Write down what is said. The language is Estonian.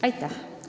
Aitäh!